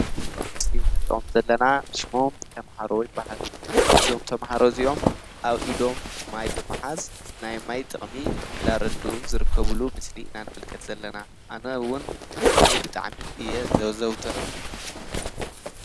ምስሊ ንርእዮም ዘለና ሽሞም ተምሃሮይ ባሃዱ እዞም ተምሃሮ እዙዮም ኣብ ኢዶም ማይ ብምሓዝ ናይ ማይ ጥቕሚ እንዳረድ ዝርከብሉ ምስሊ ኢናን ምልከት ዘለና ኣነውን ማይ ብጥዕሚ እየ ዘወዘውት።